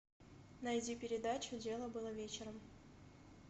найди передачу дело было вечером